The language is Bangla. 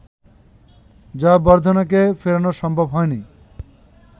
জয়াবর্ধনেকে ফেরানো সম্ভব হয়নি